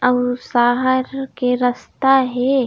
आऊ शहर के रास्ता हे।